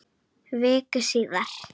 Viku síðar.